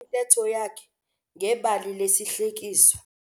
Uqalise intetho yakhe ngebali lesihlekiso.